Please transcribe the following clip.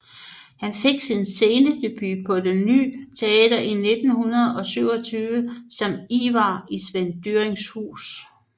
Han fik sin scenedebut på Det Ny Teater i 1927 som Ivar i Svend Dyrings Hus